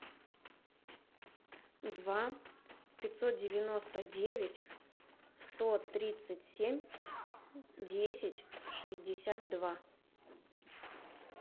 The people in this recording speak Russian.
два пятьсот девяносто девять сто тридцать семь десять шестьдесят два